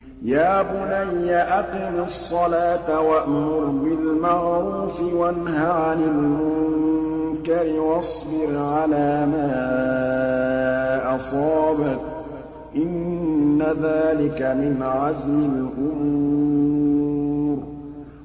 يَا بُنَيَّ أَقِمِ الصَّلَاةَ وَأْمُرْ بِالْمَعْرُوفِ وَانْهَ عَنِ الْمُنكَرِ وَاصْبِرْ عَلَىٰ مَا أَصَابَكَ ۖ إِنَّ ذَٰلِكَ مِنْ عَزْمِ الْأُمُورِ